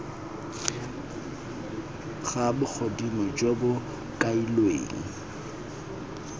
ga bogodimo jo bo kailweng